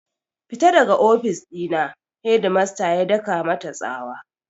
Fita daga ofis ɗina! shedmasta ya daka mata tsawa